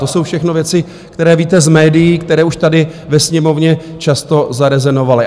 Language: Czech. To jsou všechno věci, které víte z médií, které už tady ve Sněmovně často zarezonovaly.